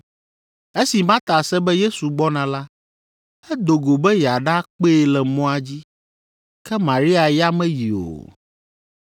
Esi Marta se be Yesu gbɔna la, edo go be yeaɖakpee le mɔa dzi. Ke Maria ya meyi o.